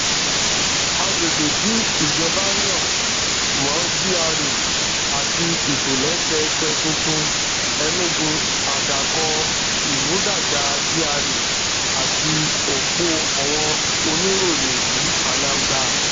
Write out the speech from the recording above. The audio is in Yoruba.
àgbègbè tí ìjọba yàn mó gra àti ìtòlésẹẹsẹ tuntun enugu àdàkọ ìmúdàgba gra àti òpó àwọn oníròyè um anambra